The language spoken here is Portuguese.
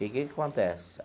E que que acontece?